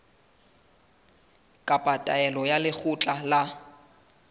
kapa taelo ya lekgotla la